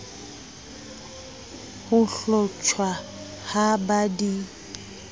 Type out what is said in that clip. ho hlotjhwa ha ba di